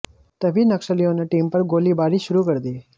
तभी नक्सलियों ने टीम पर गोलीबारी शुरू कर दी